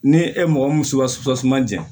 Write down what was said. Ni e mɔgɔ mun ja